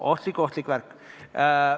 Ohtlik-ohtlik värk!